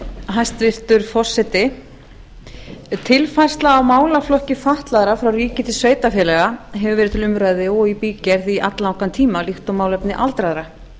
hæstvirtur forseti tilfærsla á málaflokki fatlaðra frá ríki til sveitarfélaga hefur verið til umræðu og í bígerð í alllangan tíma líkt og málefni aldraðra